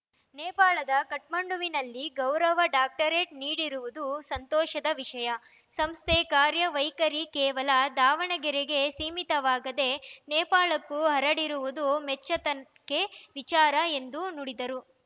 ನೇಪಾಳದ ಕಠ್ಮಂಡುವಿನಲ್ಲಿ ಗೌರವ ಡಾಕ್ಟರೇಟ್‌ ನೀಡಿರುವುದು ಸಂತೋಷದ ವಿಷಯ ಸಂಸ್ಥೆ ಕಾರ್ಯ ವೈಖರಿ ಕೇವಲ ದಾವಣಗೆರೆಗೆ ಸೀಮಿತವಾಗದೇ ನೇಪಾಳಕ್ಕೂ ಹರಡಿರುವುದು ಮೆಚ್ಚತಕ್ಕೆ ವಿಚಾರ ಎಂದು ನುಡಿದರು